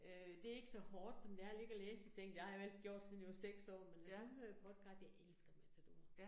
Øh det ikke så hårdt, som det er at ligge og læse i sengen, det har jeg ellers gjort siden jeg var 6 år, men nu hører jeg podcast, jeg elsker Matador